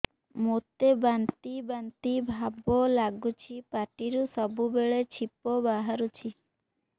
ମୋତେ ବାନ୍ତି ବାନ୍ତି ଭାବ ଲାଗୁଚି ପାଟିରୁ ସବୁ ବେଳେ ଛିପ ବାହାରୁଛି